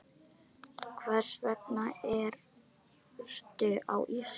Hvers vegna ertu á Íslandi?